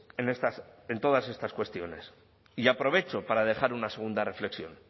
en todas estas cuestiones y aprovecho para dejar una segunda reflexión